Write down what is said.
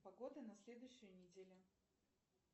погода на следующую неделю